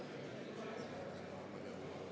Aitäh!